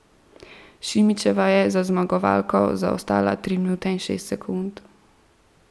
Šimičeva je za zmagovalko zaostala tri minute in šest sekund.